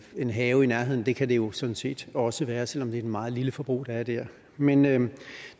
en have i nærheden det kan det jo sådan set også være selv om det er et meget lille forbrug der er dér men men